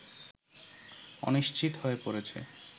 অনিশ্চিত হয়ে পড়েছে